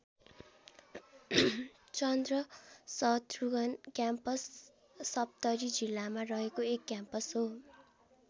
चन्द्र Shatrughna campus Saptari जिल्लामा रहेको एक क्याम्पस हो।